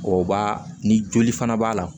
O b'a ni joli fana b'a la